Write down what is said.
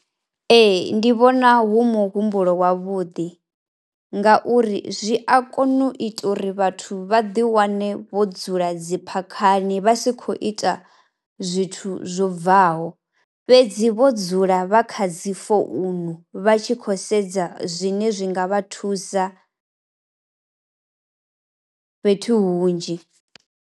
Ee ndi vhona hu muhumbulo wavhuḓi ngauri zwi a kona u ita uri vhathu vha ḓiwane vho dzula dzi phakhani vha si khou ita zwithu zwo bvaho fhedzi vho dzula vha kha dzi founu vha tshi khou sedza zwine zwi nga vha thusa fhethu hunzhi.